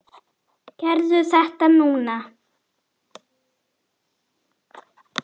Gerðu þetta því núna!